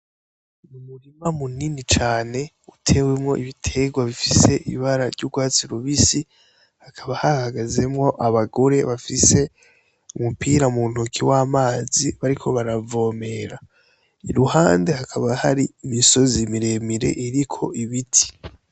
Umurima munini cane ,utewemwo ibiterwa vy'urwatsi rubisi hakaba hahagazemwo abagore bafise umupira mu ntoke w'amazi bariko baravomera iruhande hakaba hari imisozi miremire iriko ibiti.